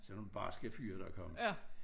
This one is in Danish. Sådan nogle barske fyre der kom